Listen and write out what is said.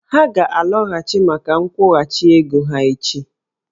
Ha ga-alọghachi maka nkwụghachi ego ha echi